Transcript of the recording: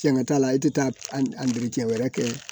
Tiɲɛŋa t'a la e tɛ taa a miiri cɛn wɛrɛ kɛ